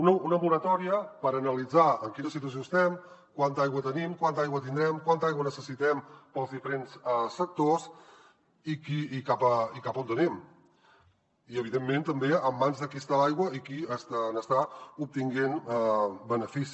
una moratòria per analitzar en quina situació estem quanta aigua tenim quanta aigua tindrem quanta aigua necessitem per als diferents sectors i cap a on anem i evidentment també en mans de qui està l’aigua i qui n’està obtenint benefici